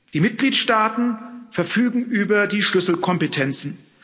Die Mitgliedstaaten verfügen über die Schlüsselkompetenzen.